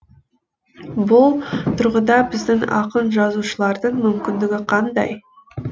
бұл тұрғыда біздің ақын жазушылардың мүмкіндігі қандай